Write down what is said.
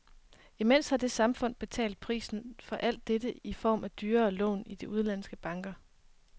Imens har det samfundet betalt prisen for alt dette i form af dyrere lån i de udenlandske banker.